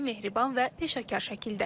Səmimi, mehriban və peşəkar şəkildə.